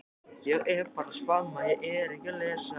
Þetta var ekki sá Almáttugi sem hann hafði búist við.